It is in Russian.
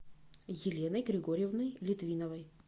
еленой григорьевной литвиновой